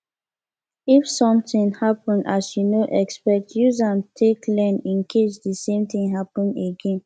if something happen as you no expect use am take learn in case di same thing happen again